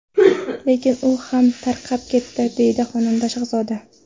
Lekin u ham tarqab ketdi”, deydi xonanda Shahzoda.